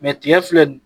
tigɛ filɛ